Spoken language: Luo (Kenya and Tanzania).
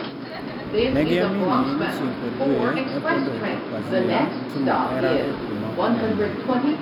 Negi amini ni chieng' kod dwe ne pondo e tok pazia timo hera e kuma opondo